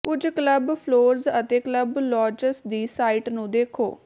ਕੁਝ club floors ਅਤੇ club lounges ਦੀ ਸਾਈਟ ਨੂੰ ਦੇਖੋ